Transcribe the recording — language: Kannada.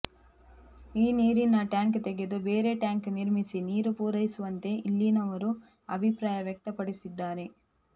ಈ ನೀರಿನ ಟ್ಯಾಂಕ್ ತೆಗೆದು ಬೇರೆ ಟ್ಯಾಂಕ್ ನಿರ್ಮಿಸಿ ನೀರು ಪೂರೈಸುವಂತೆ ಇಲ್ಲಿನವರು ಅಭಿಪ್ರಾಯ ವ್ಯಕ್ತಪಡಿಸಿದ್ದಾರೆ